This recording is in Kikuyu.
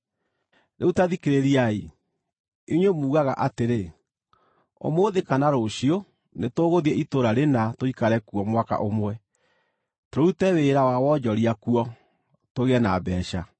Rĩu ta thikĩrĩriai, inyuĩ mugaga atĩrĩ: “Ũmũthĩ kana rũciũ nĩtũgũthiĩ itũũra rĩna tũikare kuo mwaka ũmwe, tũrute wĩra wa wonjoria kuo, tũgĩe na mbeeca.”